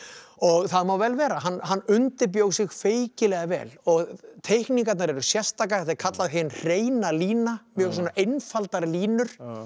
það má vel vera hann undirbjó sig feikilega vel og teikningarnar eru sérstakar þetta er kallað hin hreina lína mjög svona einfaldar línur